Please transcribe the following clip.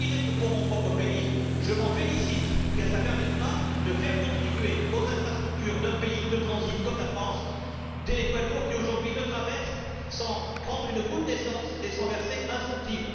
Je vous dirais que, pour mon propre pays, je m'en félicite, car il permettra de faire contribuer aux infrastructures d'un pays de transit comme la France des poids lourds qui, aujourd'hui, le traversent sans prendre une goutte d'essence et sans verser un centime.